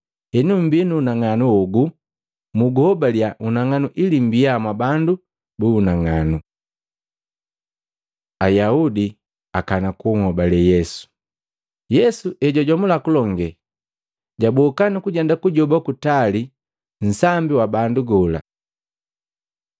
Henu hembii na unang'anu hogu muguhobalya unang'anu ili mmbia mwabandu bu unang'anu.” Ayaudi akana kuhobale Yesu Yesu hejwajomula kulonge, jwaboka nukujenda kujoba kutali nunsambi wa bandu gola.